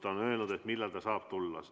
Ta on öelnud, millal ta saab tulla.